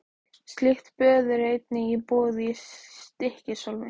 Slík böð eru einnig í boði í Stykkishólmi.